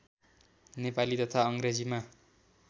नेपाली तथा अङ्ग्रेजीमा